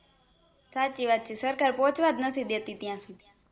સાચી વાત છે સરકાર પોહ્ચવાજ નથી દેતી ત્યાં સુધી